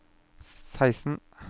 seksten